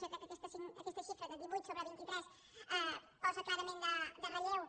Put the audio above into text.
jo crec que aquesta xifra de divuit sobre vint i tres posa clarament de relleu